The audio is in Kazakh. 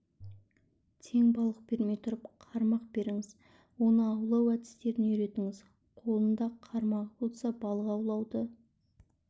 тең балық бермей тұрып қармақ беріңіз оны аулау әдістерін үйретіңіз қолында қармағы болса балық аулауды